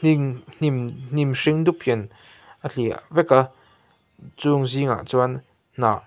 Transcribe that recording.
hnim hnim hnim hring dup hian a hliah vek a chung zingah chuan hnah--